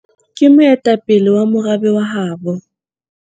ke moetapele wa morabe wa habo